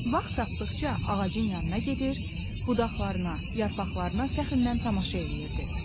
Vaxt tapdıqca ağacın yanına gedir, budaqlarına, yarpaqlarına fəxrlə tamaşa eləyirdi.